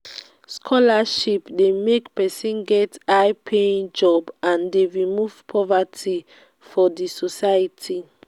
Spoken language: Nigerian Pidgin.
scholarship de make persin get high paying job and de remove poverty for the society